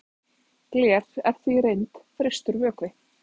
gler er því í reynd frystur vökvi